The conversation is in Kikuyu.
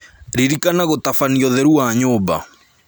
Ririkana gũtabania ũtheru wa nyũmba